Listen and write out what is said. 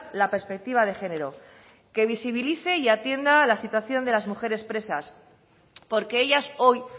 la perspectiva de género que visibilice y atienda la situación de las mujeres presas porque ellas hoy